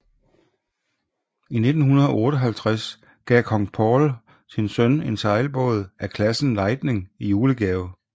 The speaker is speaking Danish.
I 1958 gav kong Paul sin søn en sejlbåd af klassen Lightning i julegave